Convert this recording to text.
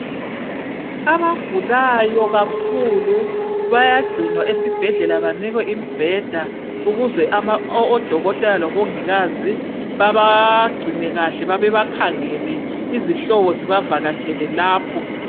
Abagulayo kakhulu bayagcinwa esibhedlela banikwe imibheda ukuze ama odokotela lomongikazi babagcine kuhle babakhangele izihlobo zibavakatshela lapho.